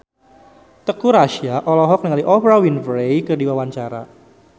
Teuku Rassya olohok ningali Oprah Winfrey keur diwawancara